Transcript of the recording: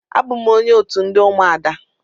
Abụ m onye otu ndị ụmụada.